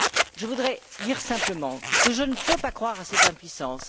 Je voudrais dire simplement que je ne peux pas croire à cette impuissance.